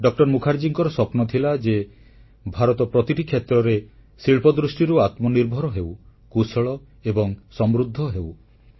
ଡ ମୁଖାର୍ଜୀଙ୍କର ସ୍ୱପ୍ନ ଥିଲା ଯେ ଭାରତ ପ୍ରତିଟି କ୍ଷେତ୍ରରେ ଶିଳ୍ପ ଦୃଷ୍ଟିରୁ ଆତ୍ମନିର୍ଭର ହେଉ କୁଶଳ ଏବଂ ସମୃଦ୍ଧ ହେଉ